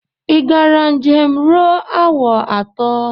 Ị gara njem ruo awa atọ?